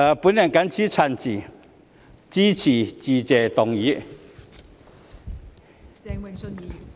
我謹此陳辭，支持致謝議案。